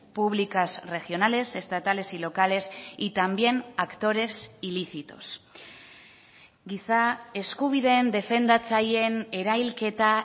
públicas regionales estatales y locales y también actores ilícitos giza eskubideen defendatzaileen erailketa